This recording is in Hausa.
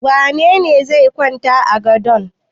Wane ne zai kwanta a gadon?